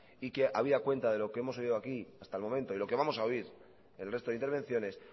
y que habida cuenta de lo que hemos oído aquí hasta el momento y lo que vamos a oír el resto de intervenciones